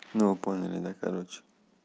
ну вы поняли да короче